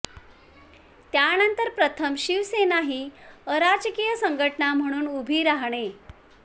त्यानंतर प्रथम शिवसेना ही अराजकीय संघटना म्हणून उभी राहणे